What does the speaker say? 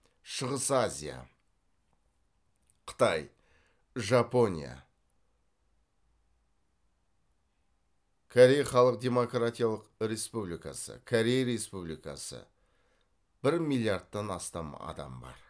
шығыс азия қытай жапония корей халық демократиялық республикасы корея республикасы бір миллиардтан астам адам бар